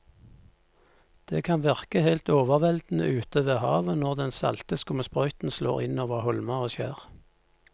Det kan virke helt overveldende ute ved havet når den salte skumsprøyten slår innover holmer og skjær.